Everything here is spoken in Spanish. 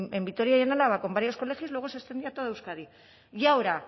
en vitoria y en álava con varios colegios y luego se extendía a toda euskadi y ahora